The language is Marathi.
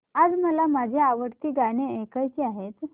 आज मला माझी आवडती गाणी ऐकायची आहेत